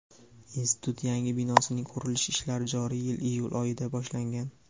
institut yangi binosining qurilish ishlari joriy yil iyul oyida boshlangan.